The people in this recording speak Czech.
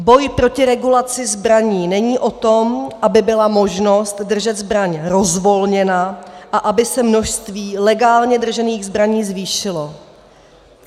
Boj proti regulaci zbraní není o tom, aby byla možnost držet zbraň rozvolněna a aby se množství legálně držených zbraní zvýšilo.